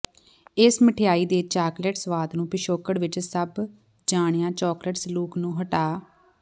ਇਸ ਮਿਠਆਈ ਦੇ ਚਾਕਲੇਟ ਸੁਆਦ ਨੂੰ ਪਿਛੋਕੜ ਵਿੱਚ ਸਭ ਜਾਣਿਆ ਚਾਕਲੇਟ ਸਲੂਕ ਨੂੰ ਹਟਾ